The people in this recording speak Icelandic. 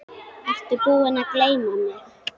Ertu búinn að gleyma mig?